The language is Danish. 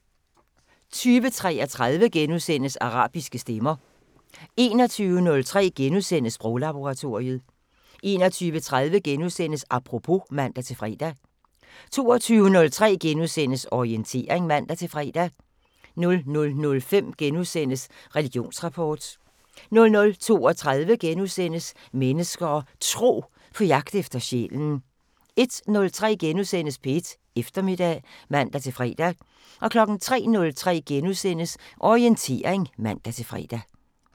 20:33: Arabiske stemmer * 21:03: Sproglaboratoriet * 21:30: Apropos *(man-fre) 22:03: Orientering *(man-fre) 00:05: Religionsrapport * 00:32: Mennesker og Tro: På jagt efter sjælen * 01:03: P1 Eftermiddag *(man-fre) 03:03: Orientering *(man-fre)